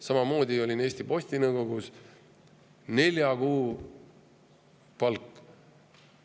Samamoodi olin Eesti Posti nõukogus: nelja kuu palk.